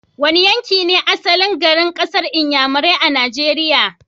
Wane yanki ne asalin garin kasar Inyamurai a Nigeria?